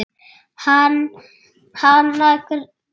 Hana grunar ekkert.